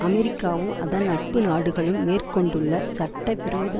அமெரிக்காவும் அதன் நட்பு நாடுகளும் மேற்க்கொண்டுள்ள சட்ட விரோத